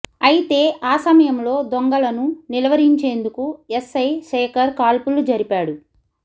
అయితే ఆ సమయంలో దొంగలను నిలువరించేందుకు ఎస్ ఐ శేఖర్ కాల్పులు జరిపాడు